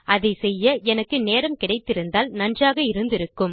அதை செய்ய எனக்கு நேரம் கிடைத்திருந்தால் நன்றாக இருந்திருக்கும்